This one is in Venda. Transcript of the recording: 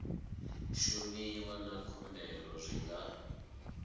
shumiwa na khumbelo zwi nga